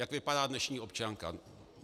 Jak vypadá dnešní občanka?